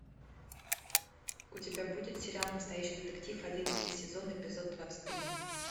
у тебя будет сериал настоящий детектив одиннадцатый сезон эпизод двадцать три